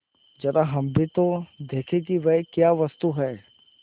जरा हम भी तो देखें कि वह क्या वस्तु है